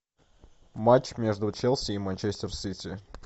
матч между челси и манчестер сити